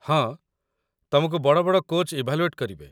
ହଁ, ତମକୁ ବଡ଼ ବଡ଼ କୋଚ୍‌ ଇଭାଲୁଏଟ୍ କରିବେ ।